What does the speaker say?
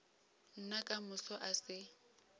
nna ka moso a se